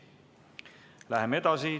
Läheme edasi.